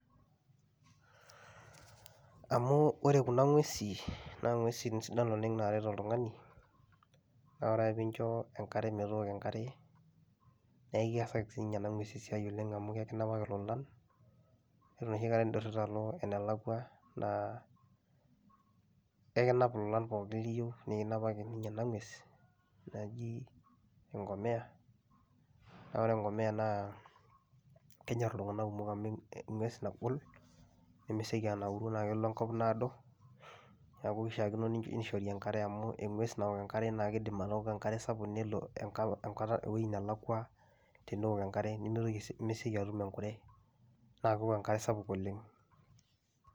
Amu ore kuna ng'uesin naa ng'uesin sidan oleng' naaret oltung'ani naa ore ake piinjo enkare metooko enkare nee keasaki siinye ena ng'ues esiai oleng' amu kekinapaki lolan iyiolo enoshi kata indurita alo enelakua naa ekinap ilolan pookin liyiu nekinapaki ninye ena ng'ues naji eng'omia, naa ore eng'omia naa kenyor iltung'anak kumok amu eng'ues nagol, nemesioki anauru naake elo enkop naado. Neeku ishaakino nishori enkare amu eng'ues nawok enkare naake iidim atooko enkare sapuk nelo enka enkata ewoi nelakua tenewok enkare nemitoki sii nemesioki aning' enkure naake ewok enkare sapuk oleng'.